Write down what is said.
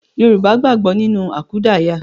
Yorùbá gbàgbọ́ nínú àkúdàáyá